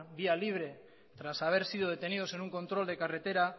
vía libre tras haber sido detenidos en un control de carretera